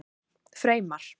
Freymar